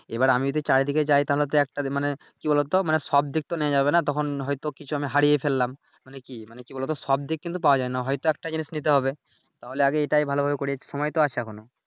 এইবার আমি যদি চারদিকে যাই তাহলে তো একটা দিন মানে কি বলোতো মানে সব দিক তো নেয়া যাবে নাহ তখন হয়ত কিছু আমি হারিয়ে ফেললাম মানে কি মানে কি বলোতো সব দিক কিন্তু পাওয়া না হয়তো একটা জিনিস নিতে হবে তাহলে আগে এইটাই ভালোভাবে করি সময় তো আছে এখনো